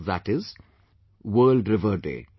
That is World Rivers Day